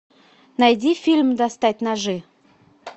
найди фильм достать ножи